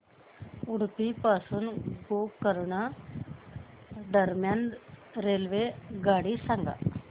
उडुपी पासून गोकर्ण दरम्यान रेल्वेगाडी सांगा